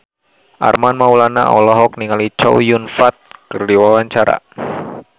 Armand Maulana olohok ningali Chow Yun Fat keur diwawancara